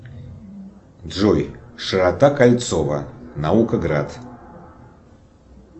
джой широта кольцова наукоград